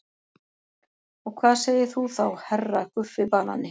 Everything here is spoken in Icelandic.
Og hvað segir þú þá HERRA Guffi banani?